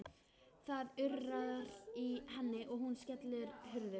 Það urrar í henni og hún skellir hurðum.